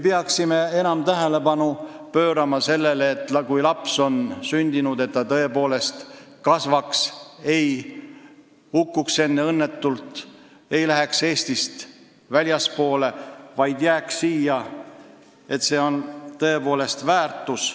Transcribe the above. Peaksime enam pöörama tähelepanu sellele, et kui laps on sündinud, siis ta kasvaks, ei hukkuks õnnetult, ei läheks Eestist väljapoole, vaid jääks siia, mis on tõepoolest väärtus.